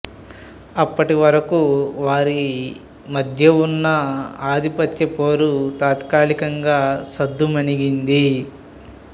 అప్పటి వరకు వారి మధ్య ఉన్న ఆధిపత్య పోరు తాత్కలికంగా సద్దుమణిగింది